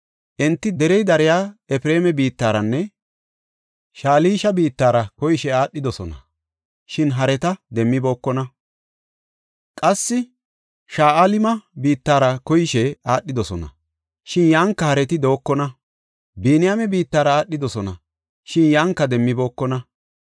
Enti derey dariya Efreema biittaranne Shalisha biittara koyishe aadhidosona, shin hareta demmibookona. Qassi Sha7alima biittara koyishe aadhidosona, shin yanka hareti dookona. Biniyaame biittara aadhidosona, shin yanka demmibookona.